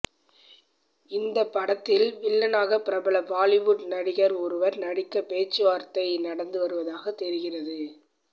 இந்த படத்தில் வில்லனாக பிரபல பாலிவுட் நடிகர் ஒருவர் நடிக்க பேச்சுவார்த்தை நடந்து வருவதாக தெரிகிறது